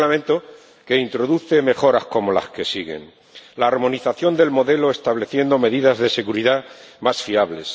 Un Reglamento que introduce mejoras como las que siguen la armonización del modelo, que establece medidas de seguridad más fiables